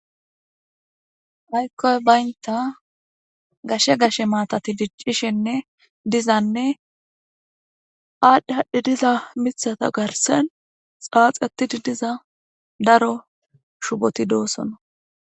Aaykkoy baynta gashe gashe maatati diccishenne dizanne aadhdhe hadhdhi diza mithata garsen xaaxetidi diza daro shuboti doosono